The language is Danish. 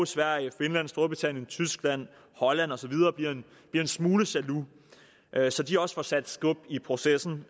sverige finland storbritannien tyskland holland og så videre bliver en smule jaloux så de også får sat skub i processen